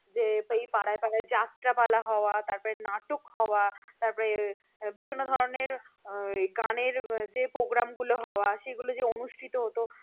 পাড়ায় পাড়ায় যাত্রাপালা হওয়া তারপরে নাটক হওয়া তারপরে বিভিন্ন ধরনের গানের যে program গুলো হওয়া সেগুলো যে অনুষ্ঠিত হত